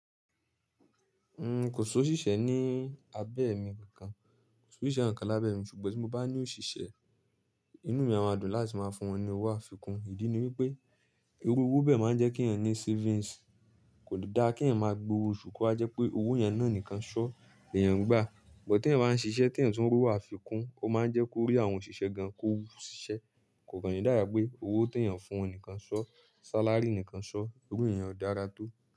N ko si osiṣẹ́ ní abẹ́ mi kankan, ko só ṣiṣẹ́ ǹkan lábẹ́ ẹ̀ mi ṣùgbọ́n tí mo bá ní òṣìṣẹ́, inú mi a máa dùn láti máa fún wọn ní owó àfikún. Ìdí ni wípé irú owó bẹ́ẹ̀ máa ń jẹ́ kí ènìyàn ní savings. Kò dáa kí èyàn máa gbowó osu, ko wa je pé owó yen náà nìkan ṣọ́, lèyàn gbà. But tí èyàn bá ń ṣiṣẹ́, tí ryàn tún ń ri owo àfikún, ó máa ń jẹ́ kó rí àwọn òṣìṣẹ́ gan kò wu ṣiṣẹ́. Kò kán ni dábi pé owó tí èyàn ń fún wọn nìkan ṣọ́, salary nìkan ṣọ́, irú iyen o dára tó.